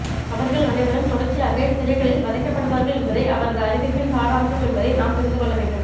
அவர்கள் அனைவரும் தொடர்ச்சியாக சிறைகளில் வதைக்கப்படுவார்கள் என்பதே அவரது அறிவிப்பின் சாராம்சம் என்பதை நாம் புரிந்து கொள்ள வேண்டும்